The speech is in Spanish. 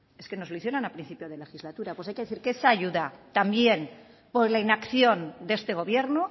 es que nos lo hicieron al principio de legislatura pues hay que decir que esa ayuda también por la inacción de este gobierno